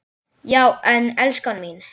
Já en, elskan mín.